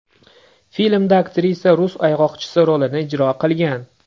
Filmda aktrisa rus ayg‘oqchisi rolini ijro qilgan.